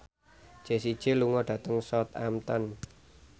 Jessie J lunga dhateng Southampton